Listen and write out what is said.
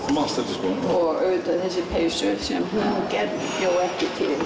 þú manst eftir skónum og auðvitað þessari peysu sem hún bjó ekki til